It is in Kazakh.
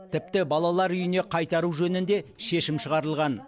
тіпті балалар үйіне қайтару жөнінде шешім шығарылған